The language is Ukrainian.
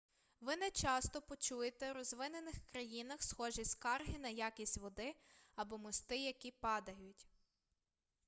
ви нечасто почуєте у розвинених країнах схожі скарги на якість води або мости які падають